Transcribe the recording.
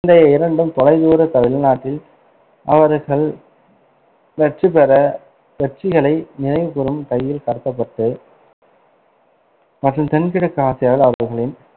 தைய இரண்டும் தொலைதூர வெளிநாட்டில் அவர்கள் வெற்றி பெற வெற்றிகளை நினைவுகூரும் கையில் கட்டப்பட்டு மற்றும் தென்-கிழக்கு ஆசியாவில் அவர்களின்